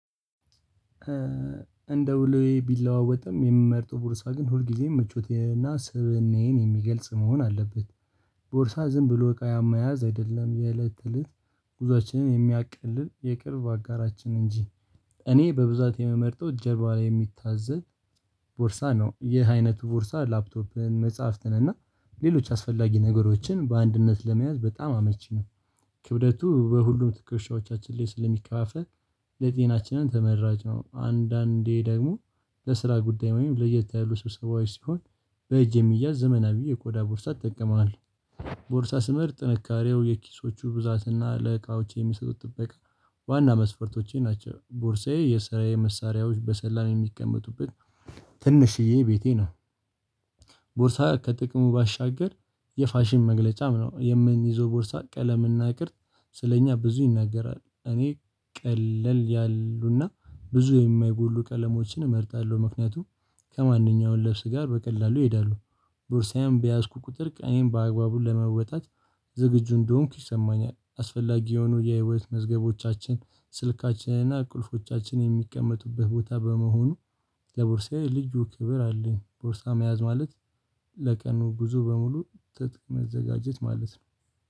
እንደው ውሎዬ ቢለዋወጥም የምመርጠው ቦርሳ ግን ሁልጊዜም ምቾቴ እና ስብእናዬን የሚገልጽ መሆን አለበት። ቦርሳ ዝም ብሎ እቃ መያዝ አይደለም። የእለት እለት ጉዞአችንን የሚያቀልል የቅርብ አጋራችን እንጂ። እኔ በብዛት የምመርጠው ጀርባ ላይ የሚታዘል ቦርሳ ነው። ይህ አይነቱ ቦርሳ ላፕቶፕን፣ መጽሐፍትን እና ሌሎች አስፈላጊ ነገሮችን በአንድነት ለመያዝ በጣም አመቺ ነው። ክብደቱ በሁሉም ትኩሻዎቻችን ላይ ስለሚከፋፈል ለጤናችንም ተመራጭ ነው። አንዳንዴ ደግሞ ለስራ ጉዳይ ወይም ለየት ያሉ ሰው ሰብሰባዊ ሲሆን በእጅ የሚያዝ ዘመናዊ የኮዳ ቦርሳ እጠቀማለሁ። ቦርሳ ስምር ጥንካሬው፣ የኪሶቹ ብዛትና ለቃዎች የሚሰጡት ጥበቃ ዋና መስፈርቶቼ ናቸው። ቦርሳዬ የሰራዬ መሳሪያዎች በሰላም የሚቀመጡበት ትንሽዬ ቤቴ ነው። ቦርሳ ከጥቅሙ ባሻገር የፋሽን መግለጫም ነው። የምንይዘው ቦርሳ ቀለም ቅርጽ ስለእኛ ብዙ ይናገራል። እኔ ቀለል ያሉና ብዙ የማይጎሉ ቀለሞችን እመርጣለሁ። ምክንያቱም ከማንኛውም ለብስ ጋር በቀላሉ ይሄዳሉ። ቦርሳዬም በያዝኩ ቁጥር ቀኔን በአግባቡ ለመወጣት ዝግጁ እንደሆንኩ ይሰማኛል። አስፈላጊ የሆኑ የህይወት መዝገቦቻችን፣ ስልካችንና ቁልፎቻችን የሚቀመጡብህ ቦታ በመሆኑ ከቦርሳዬ ልጁ ክብር አለኝ። ቦርሳ መያዝ ማለት ለቀኑ ጉዞ በሙሉ ትጥቅ መዘጋጀት ማለት ነው።